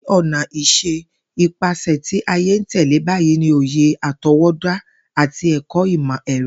Ní o̩nà is̩é̩, ipasè̩ tí ayé ń tè̩lé bayìí ni òye àto̩wó̩dá àti è̩kó̩ imo è̩ro̩